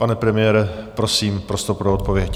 Pane premiére, prosím, prostor pro odpověď.